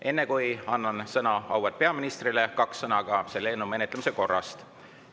Enne, kui annan sõna auväärt peaministrile, kaks sõna ka selle eelnõu menetlemise korrast.